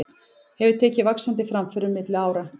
Hefur tekið vaxandi framförum milli ára.